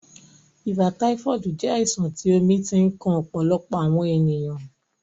Ìbà taifoodi jẹ̀ àìsàn tí omi ti ǹ kan ọ̀pọ̀lọpọ̀ awọn ènìyàn.